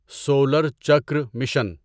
solar chakra mission